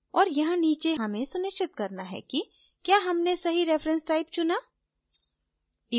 और यहाँ नीचे हमें सुनिश्चित करना है कि क्या हमने सही reference type चुना